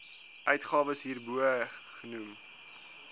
uitgawes hierbo genoem